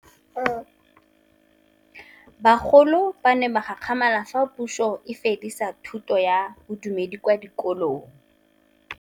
Bagolo ba ne ba gakgamala fa Pusô e fedisa thutô ya Bodumedi kwa dikolong.